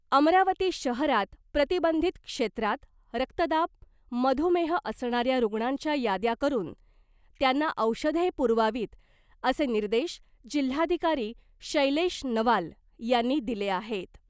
अमरावती शहरात प्रतिबंधित क्षेत्रात रक्तदाब , मधुमेह असणाऱ्या रुग्णांच्या याद्या करून त्यांना औषधे पुरवावीत असे निर्देश जिल्हाधिकारी शैलेश नवाल यांनी दिले आहेत .